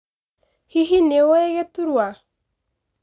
Hihi nĩwũĩ gĩturwa.